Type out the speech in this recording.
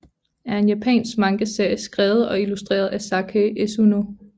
er en japansk mangaserie skrevet og illustreret af Sakae Esuno